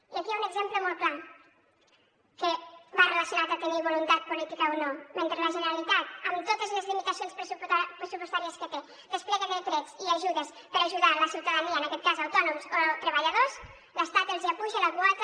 i aquí hi ha un exemple molt clar que va relacionat a tenir voluntat política o no mentre la generalitat amb totes les limitacions pressupostàries que té desplega decrets i ajudes per ajudar la ciutadania en aquest cas autònoms o treballadors l’estat els apuja la quota